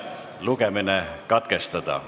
Lugemine katkestada.